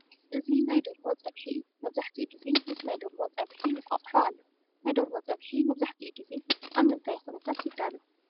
እዚ ናይ ደርሆ ፀብሒ እዩ፡፡ መብዛሕትኡ ጊዜ ምስ ናይ ደርሆ ፀብሒ እንቋቑሖ ኣሎ፡፡ ናይ ደርሆ ፀብሒ መብዛሕትኡ ግዜ ኣብ ምንታይ ኩነታት ይዳሎ?